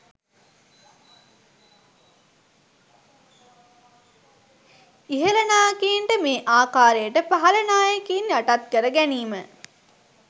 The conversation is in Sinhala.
ඉහල නායකයින්ට මේ ආකාරයට පහල නායකයින් යටත් කර ගැනීම